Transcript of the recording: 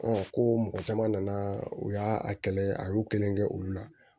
ko mɔgɔ caman nana u y'a a kɛlɛ a y'u kelen kɛ olu la